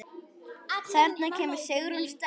Þarna kemur Sigrún sterk inn.